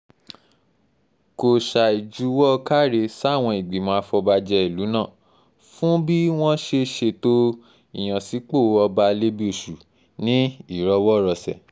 kò ṣàì juwọ́ káre sáwọn ìgbìmọ̀ àfọ̀bàjẹ́ ìlú náà fún bí wọ́n ṣe ṣètò ìyànsípò ọba alẹ́bíoṣù ní ìrọwọ́rọsẹ̀